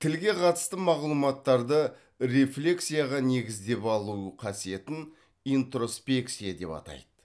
тілге қатысты мағлұматтарды рефлексияға негізделіп алу қасиетін интроспекция деп атайды